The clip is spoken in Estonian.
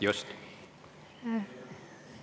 Just!